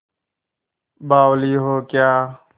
बावली हो क्या